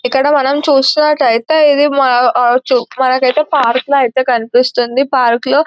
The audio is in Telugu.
ఇక్కడ మనం చూస్తున్నట్టయితే ఇది మన ఆ చు-మనకైతే పార్క్ లా ఐతే కనిపిస్తుంది పార్క్ లో --